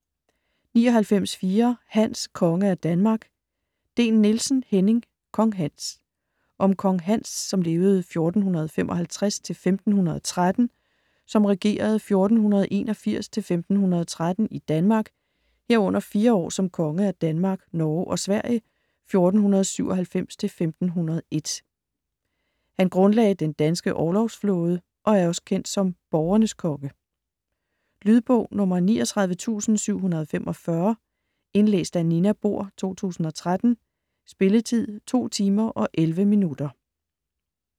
99.4 Hans: konge af Danmark Dehn-Nielsen, Henning: Kong Hans Om kong Hans (1455-1513), som regerede 1481-1513 i Danmark, herunder 4 år som konge af Danmark, Norge og Sverige 1497-1501. Han grundlagde den danske orlogsflåde og er også kendt som borgernes konge. Lydbog 39745 Indlæst af Nina Bohr, 2013. Spilletid: 2 timer, 11 minutter.